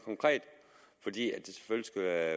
mere